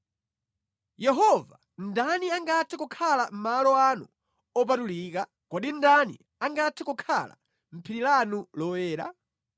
Yehova, ndani angathe kukhala mʼmalo anu opatulika? Kodi ndani angathe kukhala mʼphiri lanu loyera?